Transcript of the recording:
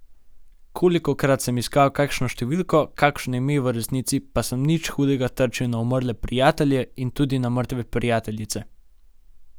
Kolikokrat sem iskal kakšno številko, kakšno ime v resnici, pa sem nič hudega trčil na umrle prijatelje in tudi na mrtve prijateljice.